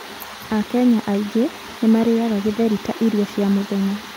Akenya aingĩ nĩ maarĩaga githeri ta irio cia mũthenya.